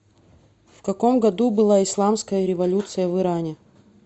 в каком году была исламская революция в иране